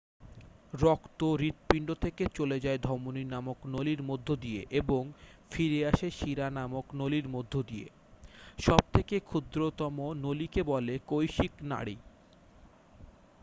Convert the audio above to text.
রক্ত হৃৎপিণ্ড থেকে চলে যায় ধমনী নামক নলির মধ্য দিয়ে এবং ফিরে আসে শিরা নামক নলির মধ্য দিয়ে সব থেকে ক্ষুদ্রতম নলিকে বলে কৈশিক নাড়ী